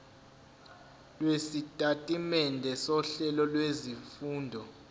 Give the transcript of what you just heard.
lwesitatimende sohlelo lwezifundo